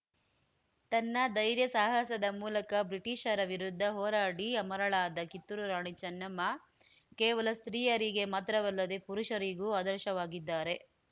ತನ್ನ ಧೈರ್ಯ ಸಾಹಸದ ಮೂಲಕ ಬ್ರಿಟಿಷರ ವಿರುದ್ಧ ಹೋರಾಡಿ ಅಮರಳಾದ ಕಿತ್ತೂರು ರಾಣಿ ಚೆನ್ನಮ್ಮ ಕೇವಲ ಸ್ತ್ರೀಯರಿಗೆ ಮಾತ್ರವಲ್ಲದೆ ಪುರುಷರಿಗೂ ಆದರ್ಶವಾಗಿದ್ದಾರೆ